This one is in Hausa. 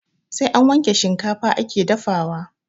Sai an wanke shikafa ake dafawa